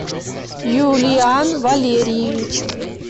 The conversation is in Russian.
юлиан валерьевич